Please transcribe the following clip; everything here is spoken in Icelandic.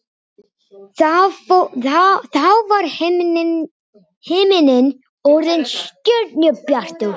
Þá var himinninn orðinn stjörnubjartur.